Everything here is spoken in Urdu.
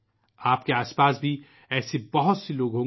آپ کے آس پاس ایسے کئی لوگ ہوں گے